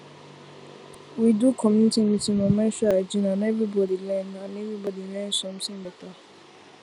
we do community meeting on menstrual hygiene and everybody learn and everybody learn something better